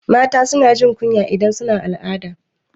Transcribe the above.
Mata suna jin kunya idan suna al'ada